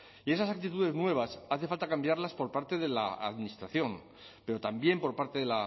y esas actitudes nuevas hace falta cambiarlas por parte de la administración pero también por parte de